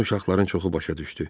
Bunu uşaqların çoxu başa düşdü.